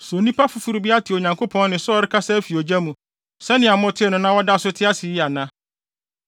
So nnipa foforo bi ate Onyankopɔn nne sɛ ɔrekasa afi ogya mu sɛnea motee no na wɔda so te ase yi ana?